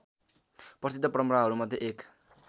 प्रसिद्ध परम्पराहरूमध्ये एक